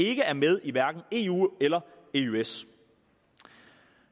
ikke er med i eu eller eøs